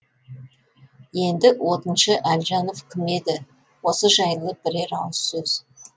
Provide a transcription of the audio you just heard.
енді отыншы әлжанов кім еді осы жайлы бірер ауыз сөз